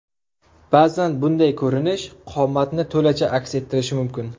Ba’zan bunday ko‘rinish qomatni to‘lacha aks ettirishi mumkin.